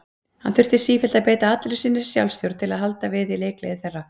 Hann þurfti sífellt að beita allri sinni sjálfstjórn til að halda í við leikgleði þeirra.